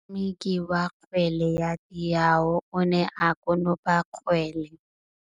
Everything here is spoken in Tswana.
Motshameki wa kgwele ya dinaô o ne a konopa kgwele.